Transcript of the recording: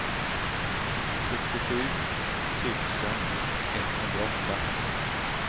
sjuttiosju tusen etthundraåtta